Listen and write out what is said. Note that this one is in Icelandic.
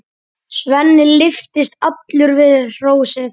Svenni lyftist allur við hrósið.